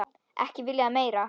Ekki viljað meira.